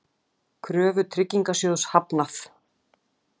Kröfu Tryggingasjóðs hafnað